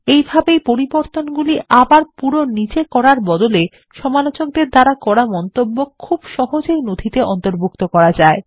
এইভাবেই পরিবর্তনগুলি আবার পুরো নিজে করার বদলে সমালোচকদের দ্বারা করা মন্তব্য খুব সহজেই নথিতে অন্তর্ভুক্ত করা যায়